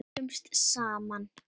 Eldumst saman.